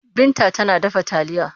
Binta tana dafa taliya.